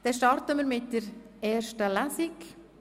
Wir starten nun also mit der ersten Lesung.